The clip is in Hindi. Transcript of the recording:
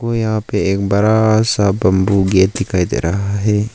यहां पे एक बरा सा बंबू गेट दिखाई दे रहा है।